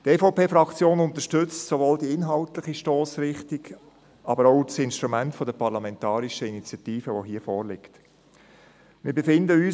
Die EVP-Fraktion unterstützt sowohl die inhaltliche Stossrichtung als auch das Instrument der parlamentarischen Initiative, welches hier verwendet wurde.